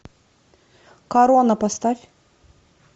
корона поставь